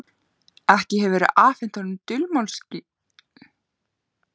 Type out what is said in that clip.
Ekki hefðu þeir afhent honum dulmálslykil.